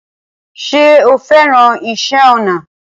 Ṣé o fẹ́ràn iṣẹ́ ọnà?